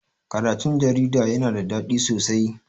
Karatun jarida yana da daɗi sosai.